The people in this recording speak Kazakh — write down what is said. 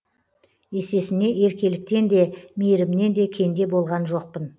есесіне еркеліктен де мейірімнен де кенде болған жоқпын